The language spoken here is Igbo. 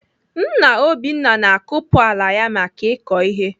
Nna Obinna na-akupu ala ya maka ịkọ ihe.